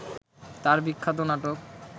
তার বিখ্যাত নাটক